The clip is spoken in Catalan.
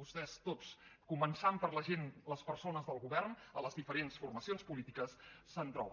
vostès tots començant per la gent les persones del govern a les diferents formacions polítiques se’n troben